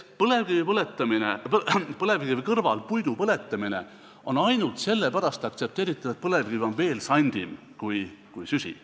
Nii et põlevkivi kõrval puidu põletamine on ainult sellepärast aktsepteeritav, et põlevkivi on veel sandim kütus kui süsi.